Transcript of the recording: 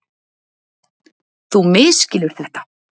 Þú misskilur þetta.